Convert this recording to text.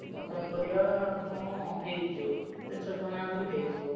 Mutton କରିବା ହଁ ହେଇ ଯିବ ତିନିଶ ଟଙ୍କା ଲେଖା ଦେଲେ ହେଇଯିବ।